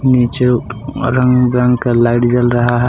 जो रंग बिरंग का लाइट जल रहा है।